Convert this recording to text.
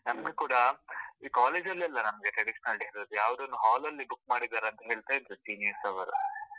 ನಮ್ಗೆ ಕೂಡ ಈ college ಲ್ಲಿ ಅಲ್ಲ ನಮ್ಗೆ traditional day ಇರೋದು, ಯಾವ್ದೋ ಒಂದು hall ಲ್ಲಿ book ಮಾಡಿದರೆ ಅಂತ ಹೇಳ್ತಾ ಇದ್ರು, seniors ಅವರು.